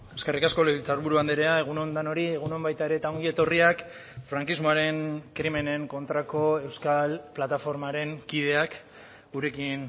eskerrik asko legebiltzarburu andrea egun on denoi egun on baita ere eta ongi etorriak frankismoaren krimenen kontrako euskal plataformaren kideak gurekin